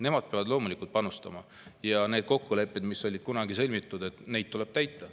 Nemad peavad panustama ja kokkuleppeid, mis kunagi on sõlmitud, tuleb täita.